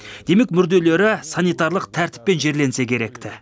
демек мүрделері санитарлық тәртіппен жерленсе керек ті